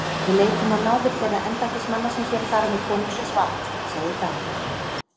Við leitum á náðir þeirra embættismanna sem hér fara með konungsins vald, sagði Daði.